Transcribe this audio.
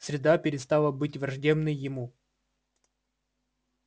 среда перестала быть враждебной ему